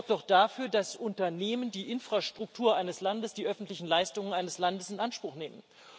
Besteuert wird doch dafür, dass Unternehmen die Infrastruktur eines Landes die öffentlichen Leistungen eines Landes in Anspruch nehmen.